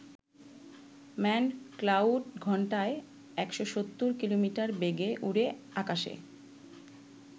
Manned cloud ঘণ্টায় ১৭০ kilometre বেগে উড়ে আকাশে।